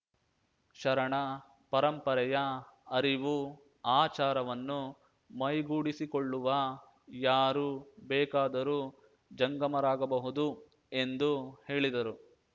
ಶರಣ ಪರಂಪರೆಯ ಅರಿವು ಆಚಾರವನ್ನು ಮೈಗೂಡಿಸಿಕೊಳ್ಳುವ ಯಾರು ಬೇಕಾದರೂ ಜಂಗಮರಾಗಬಹುದು ಎಂದು ಹೇಳಿದರು